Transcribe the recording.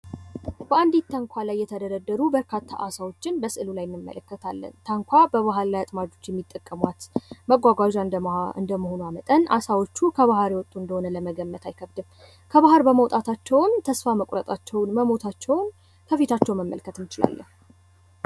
በአንዲት ታንኳ ላይ የተደረደሩ በርከት ያሉ አሳዎችን እንመለከታለን። ታንኳ በባህላዊ አጥማጆች የሚጠቀሟት መጓጓዣ እንደመሆኗ መጠን አሳዎቹ ከባህር የወጥ እንደሆኑ መገመት አይከብድም። ከባህር በመውጣታቸውም ተስፋ መቁረጣቸውን ፣ መሞታቸውን ከፊታቸው መረዳት እንችላለን።